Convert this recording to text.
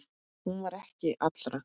Hún var ekki allra.